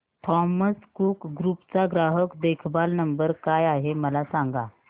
Thomas Cook group चा ग्राहक देखभाल नंबर काय आहे मला सांगा